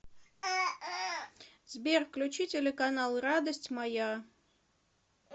сбер включи телеканал радость моя